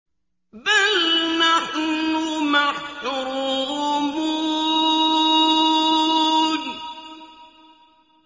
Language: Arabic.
بَلْ نَحْنُ مَحْرُومُونَ